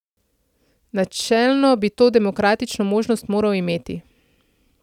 Načelno bi to demokratično možnost moral imeti.